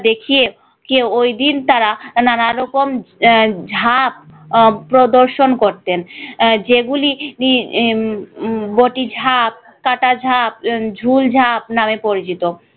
দেখিয়ে দেখিয়ে ওইদিন তারা নানারকম আহ ঝাঁপ আহ প্রদর্শন করতেন যেগুলি উম বটি ঝাঁপ কাটা ঝাঁপ উম ঝুল ঝাঁপ নামে পরিচিত।